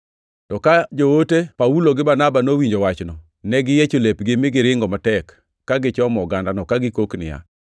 To ka joote Paulo gi Barnaba nowinjo wachno, ne giyiecho lepgi mi giringo matek ka gichomo ogandano, ka gikok niya,